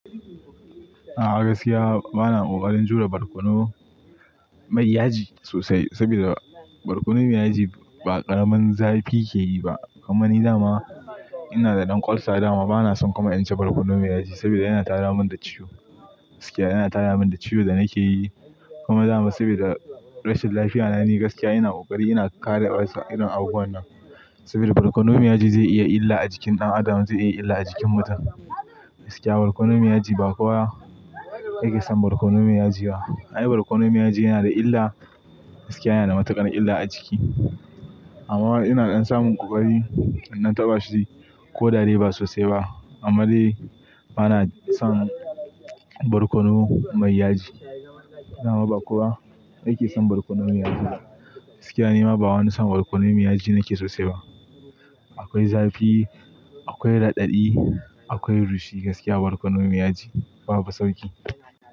A'a gaskiya bana ƙoƙarin jure barkono mai yaji sosai saboda barkono mai yaji ba ƙaramin zafi ke yi ba. Kuma ni dama ina da ɗan ulcer dama bana son kuma in ci barkono mai yaji saboda yana tada mun da ciwo. Gaskiya yana tada mun da ciwon da nake yi kuma dama saboda rashin lafiya na ni gaskiya ina ƙoƙari ina kare ulcer irin abubuwan nan saboda barkono mai yaji zai iya illa a jikin ɗan adam, zai iya illa a jikin mutum. Gaskiya barkono mai yaji ba kowa yake son barkono mai yaji ba. Ai barkono mai yaji yana da illa, gaskiya yana matuƙar illa a jiki. Amma ina ɗan samun ƙoƙari in ɗan taɓa shi ko da de ba sosai ba. Amma dai bana son barkono mai yaji. Dama ba kowa yake son barkono mai yaji. Gaskiya nima ba wani son barkono mai yaji nake sosai ba. Akwai zafi, akwai raɗaɗi, akwai rushi gaskiya barkono mai yaji babu sauƙi.